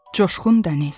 Coşqun Dəniz.